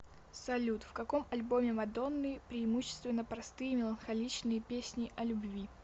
салют в каком альбоме мадонны преимущественно простые меланхоличные песни о любви